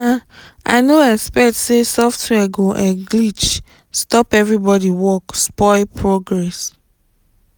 um i no expect say software go um glitch stop everybody work spoil progress